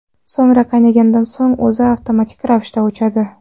So‘ngra qaynagandan so‘ng o‘zi avtomatik ravishda o‘chadi.